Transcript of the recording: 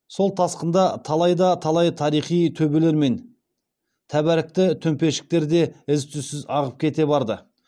сол тасқында талай да талай тарихи төбелер мен тәбәрікті төмпешіктер де із түзсіз ағып кете барды